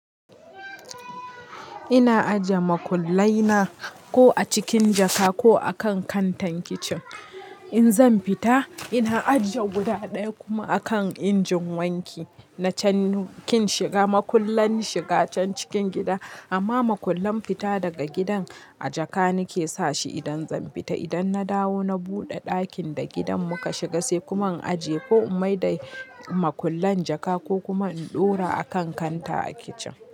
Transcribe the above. Ina ajiye makullai na ko a cikin jaka ko a kan kantar kicin. In zan fita ina ajiye guda ɗaya kuma a kan injin wanki. Na can kin shiga makullan shiga can cikin gida amma makullan fita daga gidan a jaka nake sashi idan zan fita. Idan na dawo na buɗe ɗakin da gidan muka shiga sai kuma in ajiye ko in maida makullan jaka ko kuma in ɗora a kan kanta a kicin.